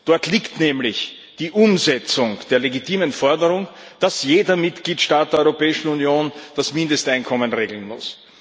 Dort liegt nämlich die Umsetzung der legitimen Forderung, dass jeder Mitgliedstaat der Europäischen Union das Mindesteinkommen regeln muss.